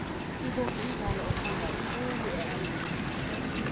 ihockey mdlalo othandwa khulu e amerika